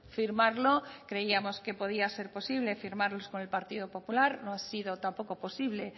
firmarlo creíamos que podía ser posible firmarlos con el partido popular no ha sido tampoco posible